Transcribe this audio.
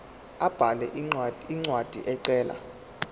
abhale incwadi ecela